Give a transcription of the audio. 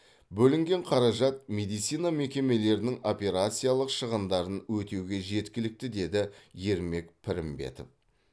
бөлінген қаражат медицина мекемелерінің операциялық шығындарын өтеуге жеткілікті деді ермек пірімбетов